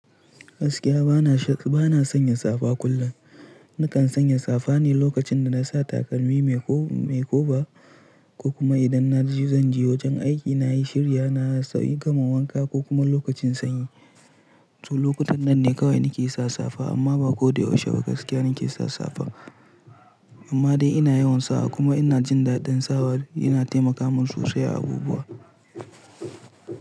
Gaskiya bana sanya safa kullum. Nakan sanya safa ne lokacin da na sa takalmi mai koba, ko kuma idan na jezanje wajen aiki na yi shirya na sauri gama wanka ko kuma lokacin sanyi. To lokutan nan ne kawai nake sa safa amma ba ko da yaushe ba gaskiya nake sa safa. Amma dai ina yawan sawa kuma ina jin daɗin sawa yana taimaka min sosai a abubuwa.